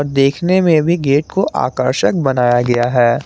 देखने में भी गेट को आकर्षक बनाया गया है।